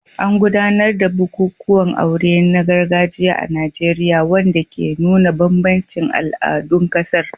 An gudanar da bukukuwan aure na gargajiya a Najeriya, wanda ke nuna bambancin al'adun ƙasar.